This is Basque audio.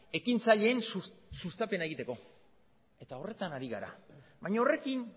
ekintzaileen sustapena egiteko eta horretan ari gara baina horrekin